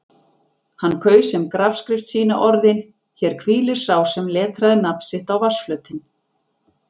Hann kaus sem grafskrift sína orðin: Hér hvílir sá sem letraði nafn sitt á vatnsflötinn.